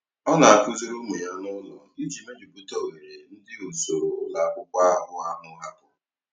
Ọ na-akụziri ụmụ ya n'ụlọ iji mejupụta oghere ndị usoro ụlọ akwụkwọ abụọ ahụ hapụrụ.